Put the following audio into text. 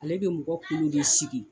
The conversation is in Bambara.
Ale bɛ mɔgɔkolo de sigi.